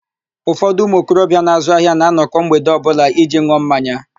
Ụfọdụ ụmụokorobịa na-azụ ahịa na-anọkọ mgbede ọbụla iji n̄ụọ mmanya.